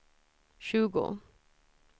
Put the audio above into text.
tjugo